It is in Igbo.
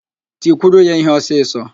Tikwuru ya íhé ọsịsọ!